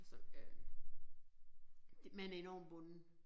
Så øh man er enormt bundet